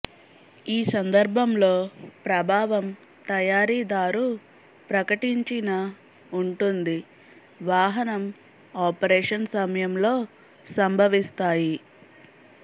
ఈ సందర్భంలో ప్రభావం తయారీదారు ప్రకటించిన ఉంటుంది వాహనం ఆపరేషన్ సమయంలో సంభవిస్తాయి